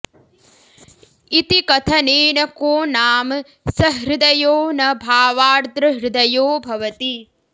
इति कथनेन को नाम सहृदयो न भावार्द्रहृदयो भवति